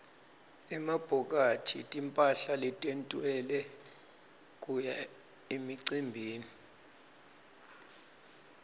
emabhokathi timphahla letentiwele kuya emicimbini